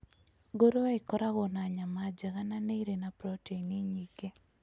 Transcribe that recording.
Ngũrũwe ĩkoragwo na nyama njega na ĩrĩ na proteini nyingĩ.